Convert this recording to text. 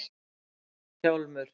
Hjálmur